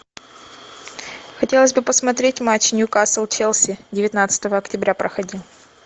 хотелось бы посмотреть матч ньюкасл челси девятнадцатого октября проходил